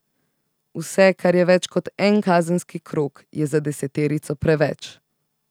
Vse, kar je več kot en kazenski krog, je za deseterico preveč.